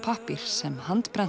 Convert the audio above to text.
pappír sem